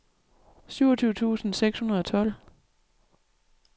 syvogtyve tusind seks hundrede og tolv